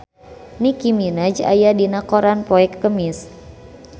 Nicky Minaj aya dina koran poe Kemis